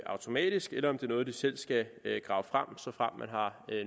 automatisk eller om det er noget de selv skal grave frem såfremt de har